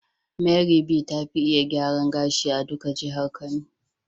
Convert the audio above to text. Mary be ta Fi gyaran gashi a duka jihar kano.